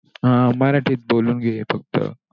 अं हा मराठीत बोलून घे फक्त.